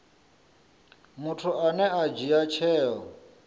muthu ane a dzhia tsheo